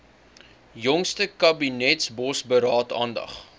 jongste kabinetsbosberaad aandag